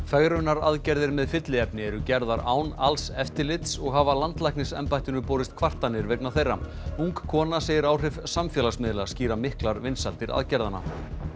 fegrunaraðgerðir með fylliefni eru gerðar án alls eftirlits og hafa landlæknisembættinu borist kvartanir vegna þeirra ung kona segir áhrif samfélagsmiðla skýra miklar vinsældir aðgerðanna